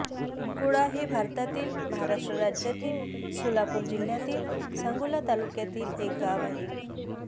कोळा हे भारतातील महाराष्ट्र राज्यातील सोलापूर जिल्ह्यातील सांगोला तालुक्यातील एक गाव आहे